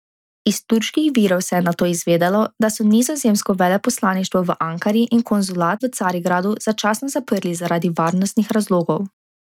Iz turških virov se je nato izvedelo, da so nizozemsko veleposlaništvo v Ankari in konzulat v Carigradu začasno zaprli zaradi varnostnih razlogov.